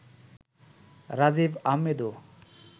Rajib আহমেদও